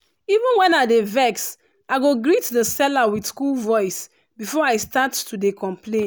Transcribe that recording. even when i dey vex i go greet the seller with cool voice before i start to dey complain.